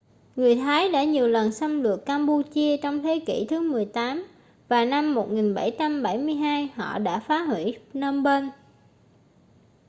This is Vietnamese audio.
người thái đã nhiều lần xâm lược cam-pu-chia trong thế kỉ thứ 18 và năm 1772 họ đã phá hủy phnom phen